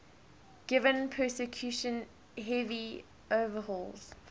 given percussion heavy overhauls